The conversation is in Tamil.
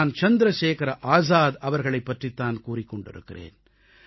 நான் சந்திரசேகர ஆசாத் அவர்களைப் பற்றித் தான் கூறிக் கொண்டிருக்கிறேன்